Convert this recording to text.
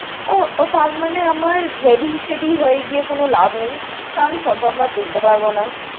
ও, তাঁর মানে আমার ready শেডী হয়ে গিয়ে কোনো লাভ নেই। কারণ photo আমরা তুলতে পারবনা।